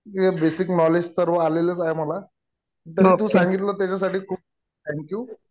हे basic knowledge तर आलेलेच आहे मला. तरी तू सांगितलं त्याच्यासाठी खूप थँक यु.